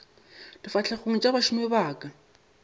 difahlegong tša bašomi ba ka